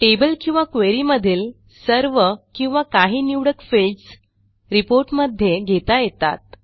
table किंवा query मधील सर्व किंवा काही निवडक फिल्डस रिपोर्ट मध्ये घेता येतात